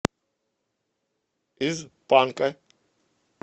из панка